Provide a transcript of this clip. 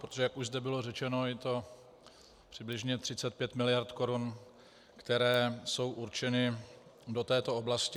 Protože jak už zde bylo řečeno, je to přibližně 35 mld. korun, které jsou určeny do této oblasti.